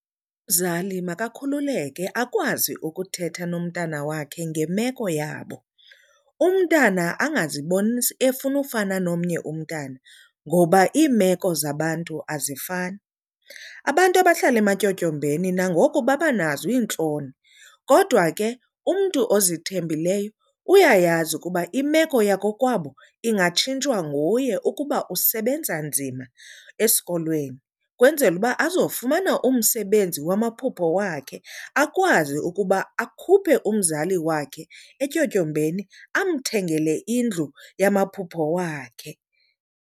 Umzali makakhululeke akwazi ukuthetha nomntana wakhe ngemeko yabo. Umntana angaziboni efuna ufana nomnye umntana ngoba iimeko zabantu azifani. Abantu abahlala ematyotyombeni nangoku babanazo iintloni kodwa ke umntu ozithembileyo uyayazi ukuba imeko yakokwabo ingatshintshwa nguye ukuba usebenza nzima esikolweni, kwenzela uba azofumana umsebenzi wamaphupho wakhe akwazi ukuba akhuphe umzali wakhe etyotyombeni amthengele indlu yamamaphupho wakhe.